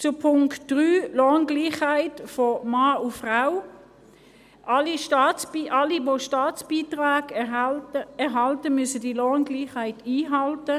Zum Punkt 3, Lohngleichheit von Mann und Frau: Alle, die Staatsbeiträge erhalten, müssen die Lohngleichheit einhalten.